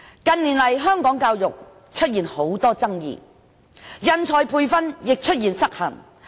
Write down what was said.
近年來，香港教育出現很多爭議，人才培訓亦失衡。